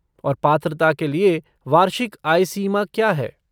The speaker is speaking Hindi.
और पात्रता के लिए वार्षिक आय सीमा क्या है?